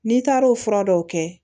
N'i taar'o fura dɔw kɛ